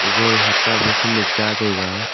goal hat a pe sene cha taiga.